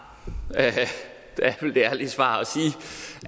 nej er det ærlige svar